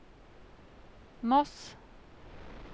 Moss